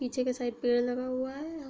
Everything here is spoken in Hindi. पीछे की साइड पेड़ लगा हुआ है हा --